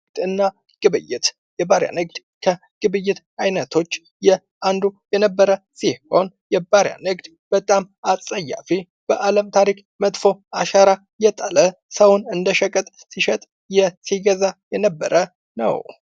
ንግድና ግብይት የባሪያ ንግድ ከግብይት አይነቶች የአንዱ የነበረ ሲሆን የባሪያ ንግድ በጣም አጸያፊ በአለም ታሪክ መጥፎ አሻራ የጣለ ሰውን እንደሸቀጥ ሲሸጥ ሲገዛ የነበረ ነው::